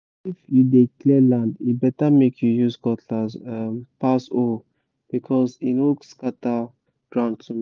if you dey clear land e better make you use cutlass um pass hoe because e no scatter ground too much